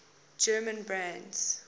german brands